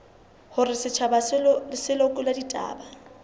hore setjhaba se lekole ditaba